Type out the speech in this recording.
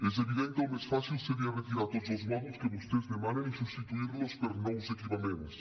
és evident que el més fàcil seria retirar tots els mòduls que vostès demanen i substituir los per nous equipaments